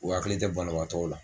U akili te banabaatɔw la